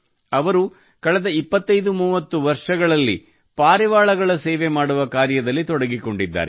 ಅವರು ಕಳೆದ 2530 ವರ್ಷಗಳಲ್ಲಿ ಪಾರಿವಾಳಗಳ ಸೇವೆ ಮಾಡುವ ಕಾರ್ಯದಲ್ಲಿ ತೊಡಗಿಕೊಂಡಿದ್ದಾರೆ